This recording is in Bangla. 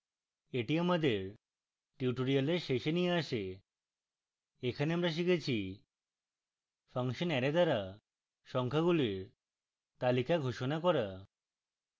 এটি আমাদের tutorial শেষে নিয়ে আসে এখানে আমরা শিখেছি